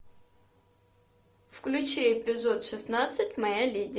включи эпизод шестнадцать моя леди